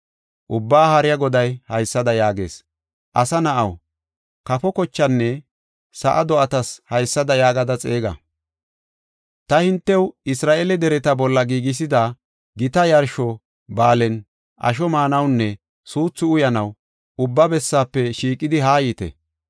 Ubbaa Haariya Goday haysada yaagees: “Asa na7aw, kafo kochenne sa7a do7atas haysada yaagada xeega. Ta hintew Isra7eele dereta bolla giigisida gita yarsho ba7aalen asho maanawunne suuthu uyanaw ubba bessafe shiiqidi haayite.